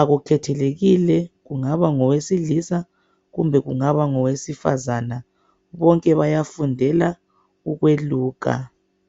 Akukhethelekile kungaba ngowesilisa kumbe kungaba ngowesifazana bonke bayafundela ukweluka.